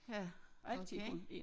Ja okay